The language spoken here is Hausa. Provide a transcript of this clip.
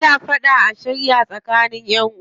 Ana fada a shirya tsakanin ƴanʼuwa.